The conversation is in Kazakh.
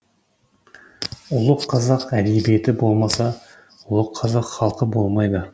ұлы қазақ әдебиеті болмаса ұлы қазақ халқы болмайды